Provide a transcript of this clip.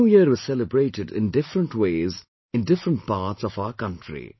The new year is celebrated in different ways in different parts of our country